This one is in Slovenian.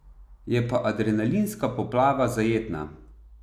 Je pa adrenalinska poplava zajetna.